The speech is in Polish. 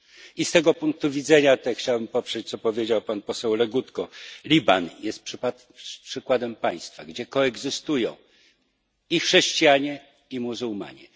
I z tego punktu widzenia chciałem poprzeć, co powiedział pan poseł Legutko Liban jest przykładem państwa, gdzie koegzystują chrześcijanie i muzułmanie.